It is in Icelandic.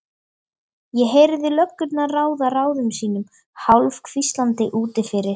Ég heyrði löggurnar ráða ráðum sínum hálfhvíslandi úti fyrir.